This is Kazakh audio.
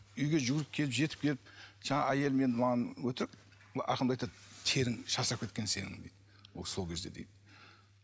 үйге жүгіріп келіп жетіп келіп жаңа әйелім менің маған өтірік да айтады терің шаршап кеткен сенің дейді ол сол кезде дейді